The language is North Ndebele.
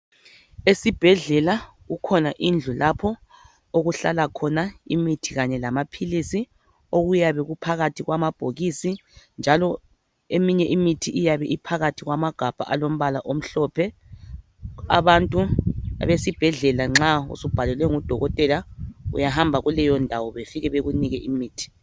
Esibhedlela kukhona indlu lapho okuhlala khona imithi kanye lamaphilisi okuyabe kuphakathi kwamabhokisi njalo eminye imithi iyabe iphakathi kwamagabha alombala omhlophe, abantu besibhedlela nxa usubhalelwe ngudokotela uyahamba kuleyondawo befike bekunike imithi.